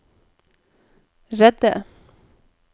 redde